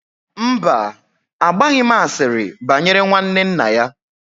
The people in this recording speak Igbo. Mba, agbaghị m asịrị banyere nwanne nna ya